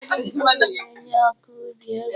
Ufodu mkpuru na-enye ọkọubi ego.